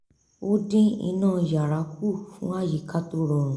ó dín iná yàrá kù fún àyíká tó rọrùn